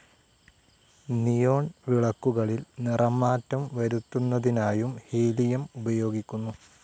Neon വിളക്കുകളിൽ നിറമാറ്റം വരുത്തുന്നതിനായുംഹീലിയം ഉപയോഗിക്കുന്നു.